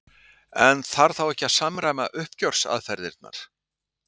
En þarf þá ekki að samræma uppgjörsaðferðirnar?